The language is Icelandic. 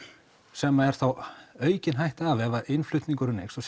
sem er þá aukin hætta af ef innflutningur eykst og